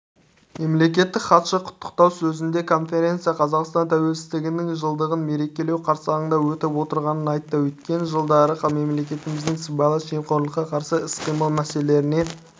мемлекеттік хатшы құттықтау сөзінде конференция қазақстан тәуелсіздігінің жылдығын мерекелеу қарсаңында өтіп отырғанын айтты өткен жылдары мемлекетіміз сыбайлас жемқорлыққа қарсы іс-қимыл мәселелеріне